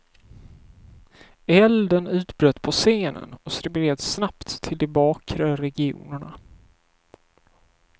Elden utbröt på scenen och spreds snabbt till de bakre regionerna.